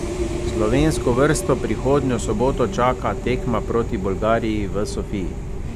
Slovensko vrsto prihodnjo soboto čaka tekma proti Bolgariji v Sofiji.